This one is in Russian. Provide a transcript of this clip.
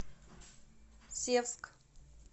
севск